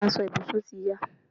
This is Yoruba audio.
Aso ìbùsùn ti ya